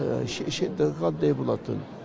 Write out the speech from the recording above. шешендігі қандай болатын